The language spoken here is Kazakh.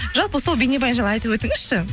жалпы сол бейнебаян жайлы айтып өтіңізші